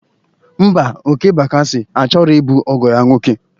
Mba, Okey Bakasị a chọrọ ịbụ ọgọ ya nwoke